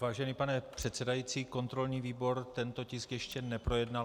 Vážený pane předsedající, kontrolní výbor tento tisk ještě neprojednal.